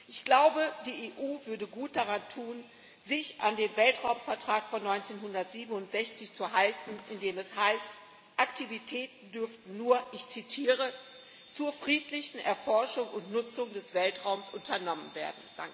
Ich glaube, die EU würde gut daran tun, sich an den Weltraumvertrag von 1967 zu halten, in dem es heißt, Aktivitäten dürften nur ich zitiere zur friedlichen Erforschung und Nutzung des Weltraums unternommen werden.